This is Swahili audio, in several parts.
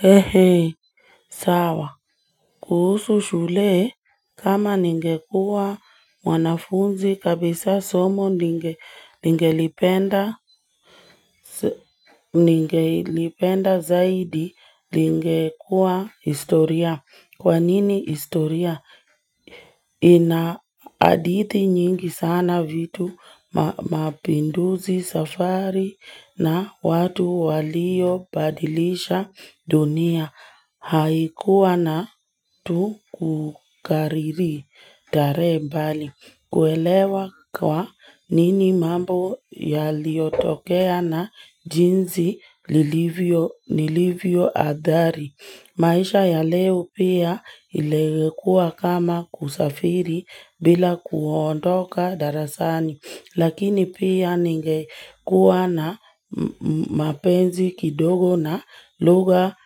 He hei sawa kuhusu shule kama ningekua mwanafunzi kabisa somo ningelipenda zaidi lingekua historia kwa nini historia inaadithi nyingi sana vitu mapinduzi safari na watu waliobadilisha dunia Haikuwa na tukukariri tarehe mbali. Kuelewa kwa nini mambo yaliotokea na jinsi lilivyo adhari. Maisha ya leo pia ilikuwa kama kusafiri bila kuondoka darasani. Lakini pia ningekuwa na mapenzi kidogo na lugha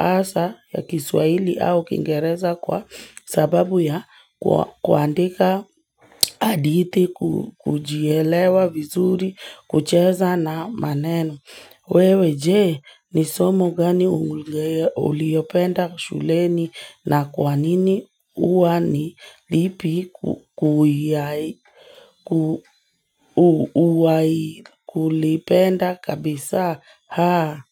asa ya kiswaili au kingereza kwa sababu ya kuandika aditi, kujielewa vizuri, kucheza na maneno. Wewe je, ni somo gani uliopenda shuleni na kwa nini uwa nilipi kuwai kulipenda kabisa haa.